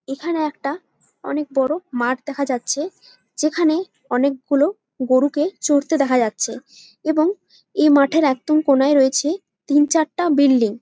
এখানে একটা অনেক বড়ো মাঠ দেখা যাচ্ছে যেখানে অনেক গুলো গরুকে চরতে দেখা যাচ্ছে এবং এ মাঠের একদম কোনায় রয়েছে তিন চারটা বিল্ডিং ।